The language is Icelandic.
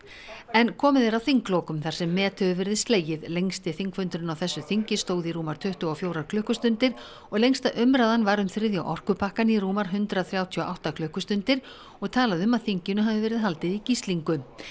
en komið er að þinglokum þar sem met hefur verið slegið lengsti þingfundurinn á þessu þingi stóð í rúmar tuttugu og fjórar klukkustundir og lengsta umræðan var um þriðja orkupakkann í rúmar hundrað þrjátíu og átta klukkustundir og talað um að þinginu hafi verið haldið í gíslingu